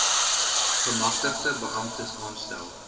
gemagtigde beamptes aanstel